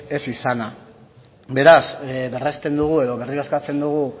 ez izana beraz berresten dugu edo berriro eskatzen dugu